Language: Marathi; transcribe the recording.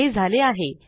हे झाले आहे